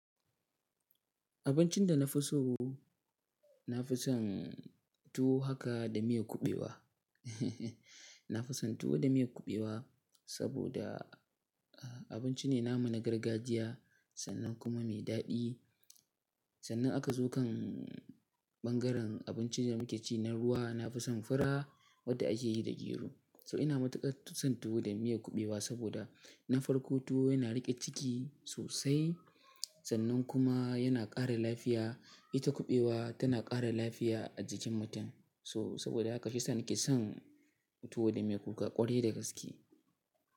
Abincin da na fi so, na fi son tuwo haka da miyar kuɓewa. Na fi son tuwo da miyar kuɓewa saboda abinci ne namu na gargajiya sannan kuma mai daɗi. Sannan aka zo kan ɓangaren abincin da muke ci na ruwa, na fi son fura wadda ake yi da gero. So ina matuƙar son tuwo da miyar kuɓewa saboda na farko tuwo yana riƙe ciki sosai sannan kuma yana ƙara lafiya. Ita kuɓewa tana ƙara lafiya a jikin mutum. So saboda haka shiyasa nake son tuwo da miyar kuka ƙwarai da gaske.